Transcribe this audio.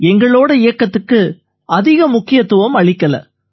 எங்களோட இயக்கத்துக்கு அதிக முக்கியத்துவம் அளிக்கலை